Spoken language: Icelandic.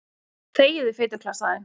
Þegiðu, fituklessan þín.